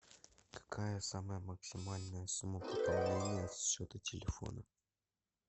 какая самая максимальная сумма пополнения счета телефона